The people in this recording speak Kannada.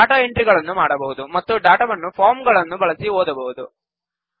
ಡಾಟಾ ಎಂಟ್ರಿಗಳನ್ನು ಮಾಡಬಹುದು ಮತ್ತು ಡಾಟಾವನ್ನು ಫಾರ್ಮ್ ಗಳನ್ನು ಬಳಸಿ ಓದಬಹುದು